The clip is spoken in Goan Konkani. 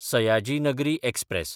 सयाजी नगरी एक्सप्रॅस